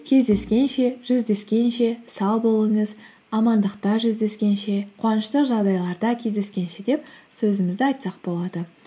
кездескенше жүздескенше сау болыңыз амандықта жүздескенше қуанышты жағдайларда кездескенше деп сөзімізді айтсақ болады